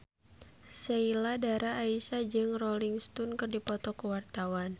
Sheila Dara Aisha jeung Rolling Stone keur dipoto ku wartawan